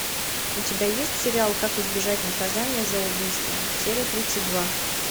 у тебя есть сериал как избежать наказания за убийство серия тридцать два